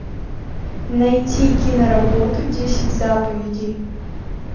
найти киноработу десять заповедей